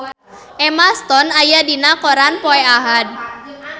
Emma Stone aya dina koran poe Ahad